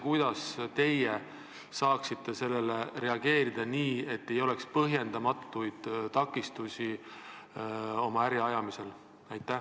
Kuidas te saaksite sellele reageerida nii, et ei oleks põhjendamatuid takistusi oma äri ajamisel?